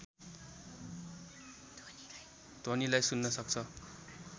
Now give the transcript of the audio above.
ध्वनिलाई सुन्न सक्छ